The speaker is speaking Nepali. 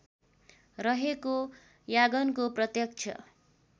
रहेको यागनको प्रत्यक्ष